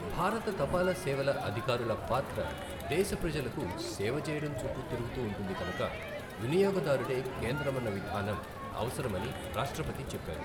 భారత తపాల సేవల అధికారుల పాత్ర దేశ ప్రజలకు సేవ చేయడం చుట్టూ తిరుగుతూ ఉంటుంది కనుక వినియోగదారుడే కేంద్రమన్న విధానం అవసరమని రాష్ట్రపతి చెప్పారు.